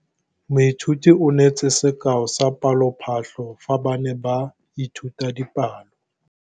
Moithuti o neetse sekaô sa palophatlo fa ba ne ba ithuta dipalo.